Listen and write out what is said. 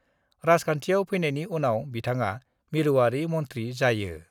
राजखान्थियाव फैनायनि उनाव बिथाङा मिरुआरि मन्थ्रि जायो।